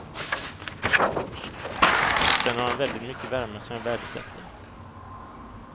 Sen har han väldigt mycket värme som jag värdesätter.